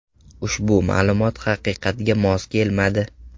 Ushbu ma’lumot haqiqatga mos kelmadi.